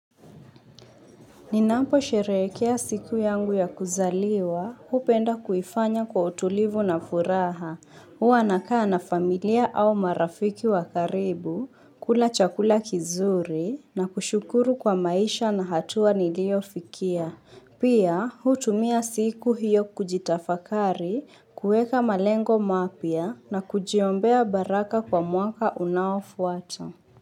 Ninampo sherekea siku yangu ya kuzaliwa, hupenda kuifanya kwa utulivu na furaha. Huwa nakaa na familia au marafiki wakaribu, kula chakula kizuri, na kushukuru kwa maisha na hatua niliofikia. Pia, hutumia siku hiyo kujitafakari, kuweka malengo mapya, na kujiombea baraka kwa mwaka unaofuata.